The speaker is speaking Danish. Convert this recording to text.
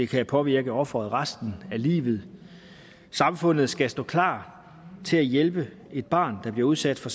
kan påvirke offeret resten af livet samfundet skal stå klar til at hjælpe et barn der bliver udsat for